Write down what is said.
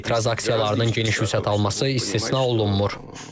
Etiraz aksiyalarının geniş vüsət alması istisna olunmur.